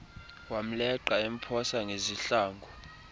wamleqa emphosa ngezihlangu